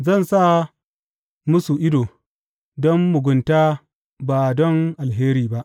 Zan sa musu ido don mugunta ba don alheri ba.